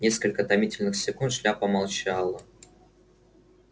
несколько томительных секунд шляпа молчала